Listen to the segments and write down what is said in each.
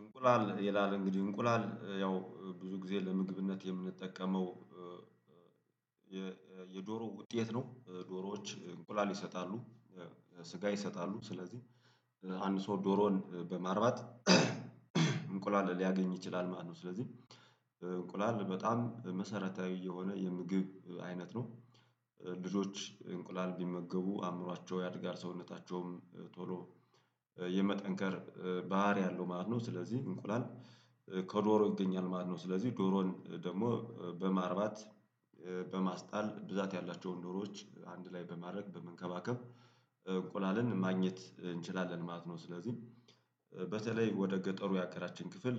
እንቁላል ይላል እንግዲህ እንቁላል ያው ብዙ ጊዜ ለምግብነት የምንጠቀመው የዶሮ ውጤት ነው ዶሮዎች እንቁላል ይሰጣሉ። ስጋ ይሰጣሉ ስለዚህ አንድ ሰው ዶሮን በማርባት እንቁላል ሊያገኝ ይችላል ማለት ነው። ስለዚህ በጣም መሰረታዊ የሆነ የምግብ አይነት ነው። ልጆች እንቁላል ቢመገቡ አእምሯቸው ያድጋል ሰውነታቸውም ቶሎ የመጠንከር ባህሪ አለው ማለት ነው። ስለዚህ እንቁላል ከዶሮ ይገኛል ማለት ነው። ስለዚህ ዶሮን ደግሞ በማርባት በማስጣል ብዛት ያላቸውን ዶሮዎች አንድ ላይ በማድረግ በመንከባከብ እንቁላልን ማግኘት እንችላለን ማለት ነው። ስለዚህ በተለይ ወደ ገጠሩ የሀገራችን ክፍል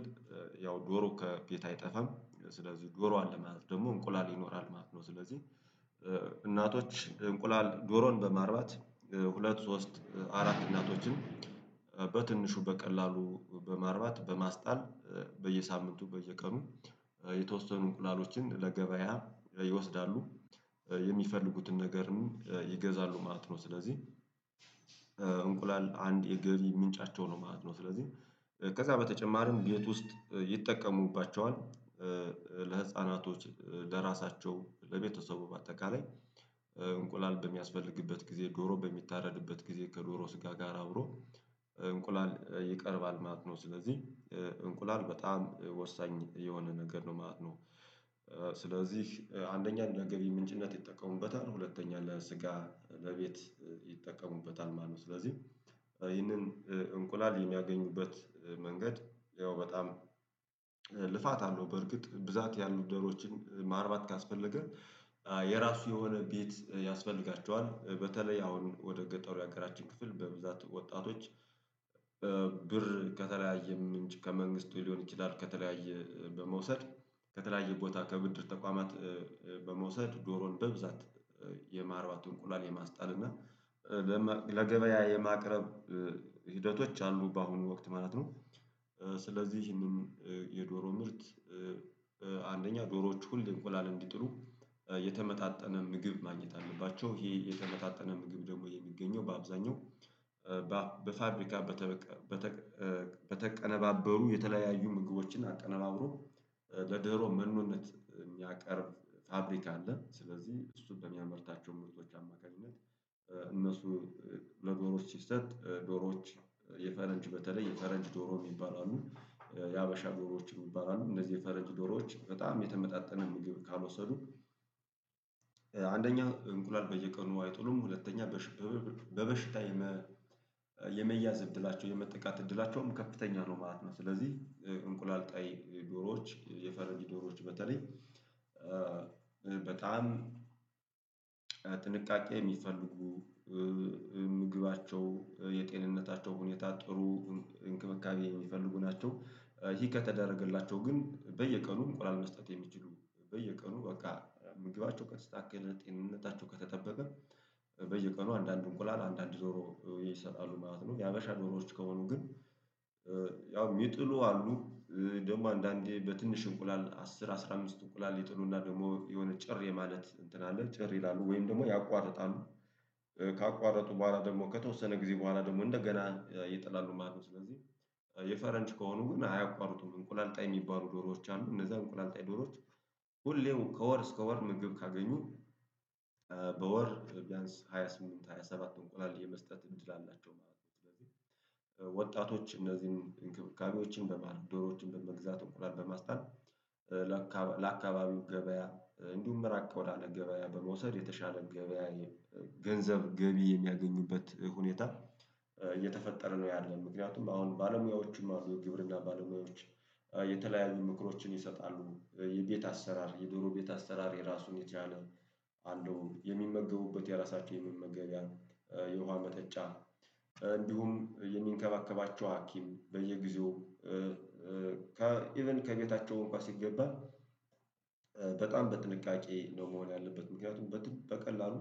ያው ዶሮ ከቤት አይጠፋም ስለዚህ ጆሮ አለ ማለት ደግሞ እንቁላል ይኖራል ማለት ነው። ስለዚህ እናቶች እንቁላል ዶሮን በማርባት ሁለት ሶስት አራት እናቶችን በትንሹ በቀላሉ በማርባት በማስጣል በየሳምንቱ በየቀኑ የተወሰኑ እንቁላሎችን ለገበያ ይወስዳሉ የሚፈልጉትን ነገርም ይገዛሉ ማለት ነው። ስለዚህ እንቁላል አንድ የገቢ ምንጫቸው ነው ማለት ነው። ስለዚህ ከዛ በተጨማሪም ቤት ውስጥ ይጠቀሙባቸዋል ለህፃናቶች ለራሳቸው ለቤተሰቡ በአጠቃላይ እንቁላል በሚያስፈልግበት ጊዜ ዶሮ በሚታረድበት ጊዜ ከዶሮ ስጋ ጋር አብሮ እንቁላል ይቀርባል ማለት ነው። ስለዚህ እንቁላል በጣም ወሳኝ የሆነ ነገር ነው ማለት ነው። ስለዚህ አንደኛ እንደ ገቢ ምንጭነት ይጠቀሙበታል ሁለተኛ ለስጋ ለቤት ይጠቀሙበታል ማለት ነው። ስለዚህ እንቁላል የሚያገኙበት መንገድ ያው በጣም ልፋት አለው በእርግጥ ብዛት ያሉ ዶሮችን ማርባት ካስፈለገ የራሱ የሆነ ቤት ያስፈልጋቸዋል በተለይ አሁን ወደ ገጠሩ የሀገራችን ክፍል በብዛት ወጣቶች ብር ከተለያየም ምንጭ ከመንግስት ሊሆን ይችላል ከተለያየ በመውሰድ ከተለያየ ቦታ ከብድር ተቋማት በመውሰድ ዶሮን በብዛት የማርባት እንቁላል የማስጣል እና ለገበያ የማቅረብ ሂደቶች አሉ በአሁኑ ወቅት ማለት ነው። ስለዚህ እንኝ የዶሮ ምርት አንደኛ ዶሮዎች ሁሌ እንቁላል እንዲጥሉ የተመጣጠነ ምግብ ማግኘት አለባቸው ይሄ የተመጣጠነ ምግብ ደግሞ የሚገኘው በአብዛኛው በፋብሪካ በተቀነባበሩ የተለያዩ ምግቦችን አቀነባብሮ ለዶሮ መኖነት የሚያቀርብ ፋብሪካ አለ። ስለዚህ እሱ በሚያመርታቸው ምርቶች አማካኝነት እነሱ ለዶሮዎች ሲሰጥ ዶሮዎች የፈረንጅ በተለይ የፈረንጅ ዶሮ የሚባሉ አሉ የሀበሻ ዶሮዎችም የሚባሉ አሉ እነዚህ የፈረንጅ ዶሮዎች በጣም የተመጣጠነ ምግብ ካልወሰዱ አንደኛ እንቁላል በየቀኑ አይጥሉም ሁለተኛ በበሽታ የመያዝ እድላቸው የመጠቃት እድላቸውም ከፍተኛ ነው ማለት ነው። ስለዚህ እንቁላል ጣይ ዶሮዎች የፈረንጅ ዶሮዎች በተለይ በጣም ጥንቃቄ የሚፈልጉ ምግባቸው የጤንነታቸው ሁኔታ ጥሩ እንክብካቤ የሚፈልጉ ናቸው። ይሄ ከተደረገላቸው ግን በየቀኑም እንቁላል መስጠት የሚችሉ በየቀኑ በቃ ምግባቸው ከተስተካከለ ጤንነታቸው ከተጠበበ በየቀኑ አንዳንድ እንቁላል አንዳንድ ዶሮ ይሰጣሉ ማለት ነው። የሀበሻ ዶሮዎች ከሆኑ ግን ያው የሚጥሉ አሉ ደግሞ አንዳንዴ በትንሽ እንቁላል አስር አስራ አምስት እንቁላል ይጥሉና ደግሞ የሆነ ጭር የማለት እንትን አለ ጭር ይላሉ ወይም ደግሞ ያቋርጣሉ ካቋረጡ በኋላ ደግሞ ከተወሰነ ጊዜ በኋላ ደግሞ እንደገና ይጥላሉ ማለት ነው። ስለዚህ የፈረንጅ ከሆኑ ግን አያቋርጡም እንቁላል ጣይ የሚባሉ ዶሮዎች አሉ እነዛ እንቁላል ጣይ ዶሮዎች ሁሌም ከወር እስከ ወር ምግብ ካገኙ በወር ቢያንስ ሃያ ስምንት ሃያ ሰባት እንቆላል የመስጠት እንድል አላቸው ማለት ነው። ስለዚህ ወጣቶች እነዚህን እንክብካቤዎችን በማድረግ ዶሮዎችን በመግዛት እንቁላል በማስጣል ለአካባቢው ገበያ እንዲሁም ራቅ ወዳለ ገበያ በመውሰድ የተሻለ ገበያ ገንዘብ ገቢ የሚያገኙበት ሁኔታ እየተፈጠረ ነው ያለው። ምክንያቱም አሁን ባለሙያዎቹም አሉ የግብርና ባለሙያዎች የተለያዩ ምክሮችን ይሰጣሉ። የቤት አሰራር የዶሮ ቤት አሰራር የራሱን የቻለ አለው። የሚመገቡበት የራሳቸውን የመመገቢያ የውሃ መጠጫ እንዲሁም የሚንከባከባቸው ሀኪም በየጊዜውም ኢቭን ከቤታቸው እንኳን ሲገባ በጣም በጥንቃቄ ነው መሆን ያለበት ምክንያቱም በቀላሉ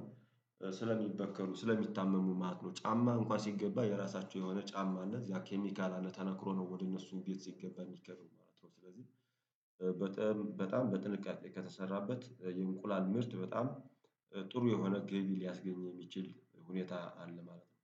ስለሚበከሉ ስለሚታመሙ ማለት ነው። ጫማ እንኳን ሲገባ የራሳቸው የሆነ ጫማ አለ እዛ ኬሚካል አለ ተነክሮ ነው ወደ እነሱ ቤት ሲገባ ሚነከረው ማለት ነው። ስለዚህ በጣም በጥንቃቄ ከተሰራበት የእንቁላል ምርት በጣም ጥሩ የሆነ ገቢ ሊያስገኝ የሚችል ሁኔታ አለ ማለት ነው